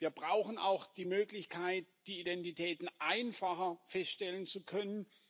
Wir brauchen auch die Möglichkeit, die Identitäten einfacher feststellen zu können.